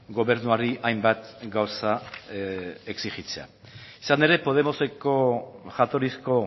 gobernuari hainbat gauza exijitzea izan ere podemoseko jatorrizko